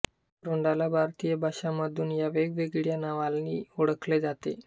अक्रोडाला भारतीय भाषांमधून या वेगवेगळ्या नावांली ओळखले जाते